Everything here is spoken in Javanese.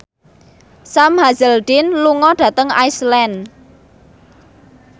Sam Hazeldine lunga dhateng Iceland